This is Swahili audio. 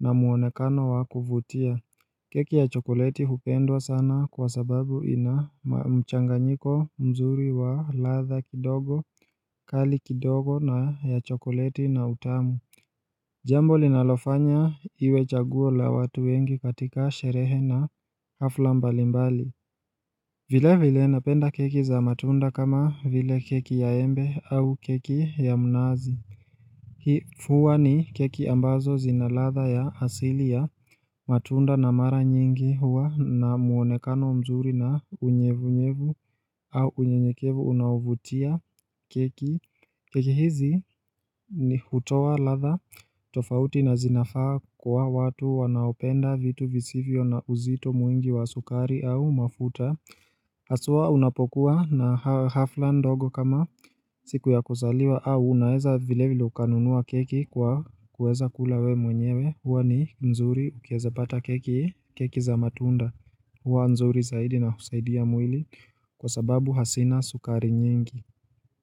na mwonekano wa kuvutia. Keki ya chokoleti hupendwa sana kwa sababu ina mchanganyiko mzuri wa ladha kidogo, kali kidogo na ya chokoleti na utamu Jambo linalofanya iwe chaguo la watu wengi katika sherehe na hafla mbalimbali Vilevile napenda keki za matunda kama vile keki ya embe au keki ya mnazi. Hii huwa ni keki ambazo zina ladha ya asili ya matunda na mara nyingi huwa na mwonekano mzuri na unyevunyevu au unyenyekevu unaovutia keki. Keki hizi ni hutoa ladha tofauti na zinafaa kwa watu wanaopenda vitu visivyo na uzito mwingi wa sukari au mafuta haswa unapokuwa na hafla ndogo kama siku ya kuzaliwa au unaeza vile vile ukanunua keki kwa kuweza kula we mwenyewe. Huwa ni nzuri ukiweza pata keki keki za matunda huwa nzuri zaidi na husaidia mwili kwa sababu hazina sukari nyingi.